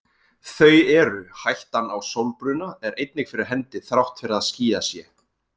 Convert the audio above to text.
Þau eru: Hættan á sólbruna er einnig fyrir hendi þrátt fyrir að skýjað sé.